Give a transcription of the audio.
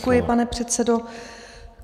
Děkuji, pane předsedo.